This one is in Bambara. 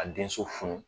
Ka denso funu